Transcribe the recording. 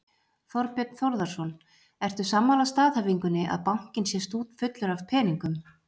Þorbjörn Þórðarson: Ertu sammála staðhæfingunni að bankinn sé stútfullur af peningum?